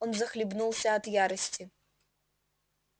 он захлебнулся от ярости